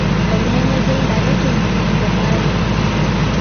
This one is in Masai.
ormenegai laretoni le Bayern.